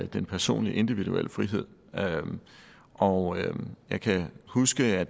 den personlige individuelle frihed og jeg kan huske at